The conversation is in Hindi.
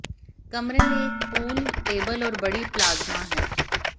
कमरे में एक पूल टेबल और बड़ी प्लाज्मा है